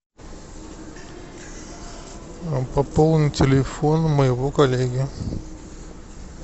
пополни телефон моего коллеги